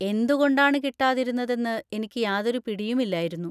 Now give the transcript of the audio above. എന്തുകൊണ്ടാണ് കിട്ടാതിരുന്നതെന്ന് എനിക്ക് യാതൊരു പിടിയുമില്ലായിരുന്നു.